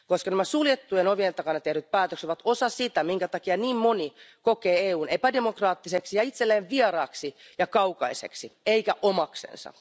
Nämä suljettujen ovien takana tehdyt päätökset ovat osa sitä, minkä takia niin moni kokee EUn epädemokraattiseksi ja itselleen vieraaksi ja kaukaiseksi eikä omaksensa.